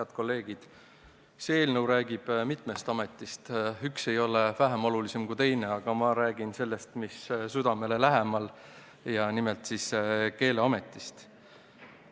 Head kolleegid, see eelnõu räägib mitmest ametist, üks ei ole vähem oluline kui teine, aga ma räägin sellest, mis südamele lähemal, ja nimelt Keeleametist.